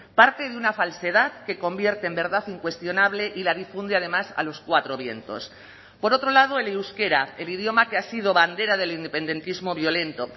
parte de una falsedad que convierte en verdad incuestionable y la difunde además a los cuatro vientos por otro lado el euskera el idioma que ha sido bandera del independentismo violento